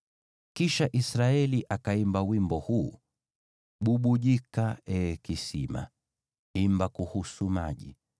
Kisha Israeli akaimba wimbo huu: “Bubujika, ee kisima! Imba kuhusu maji,